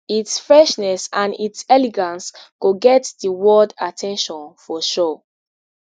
its freshness and its elegance go get di world at ten tion for sure